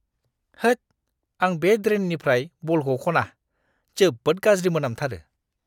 होद, आं बे ड्रेननिफ्राय बलखौ खना। जोबोद गाज्रि मोनामथारो!